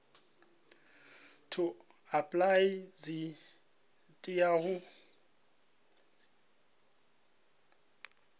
to apply tshi tea u